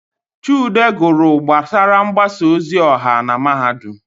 Chude gụrụ gbasara mgbasa ozi ọha na Mahadum.